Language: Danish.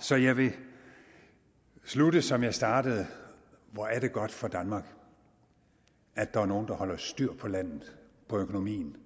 så jeg vil slutte som jeg startede hvor er det godt for danmark at der er nogle der holder styr på landet på økonomien